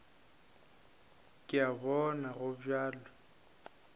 ke a bona go bjalo